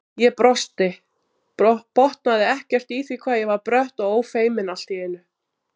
Ég brosti, botnaði ekkert í því hvað ég var brött og ófeimin allt í einu.